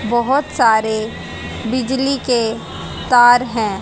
बहोत सारे बिजली के तार हैं।